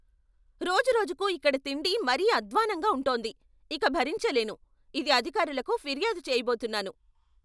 రోజురోజుకూ ఇక్కడ తిండి మరీ అద్ద్వాన్నంగా ఉంటోంది. ఇక భరించలేను, ఇది అధికారులకు ఫిర్యాదు చేయబోతున్నాను.